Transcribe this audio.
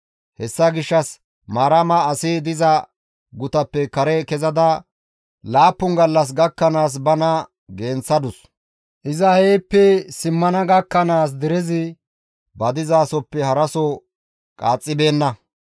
Hessa gishshas Maarama asi diza gutappe kare kezada laappun gallas gakkanaas bana genththadus; iza heeppe simmana gakkanaas derezi ba dizasoppe haraso qaaxxibeenna.